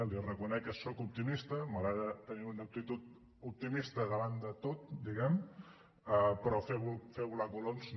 li reconec que sóc optimista m’agrada tenir una actitud optimista davant de tot diguem ne però fer volar coloms no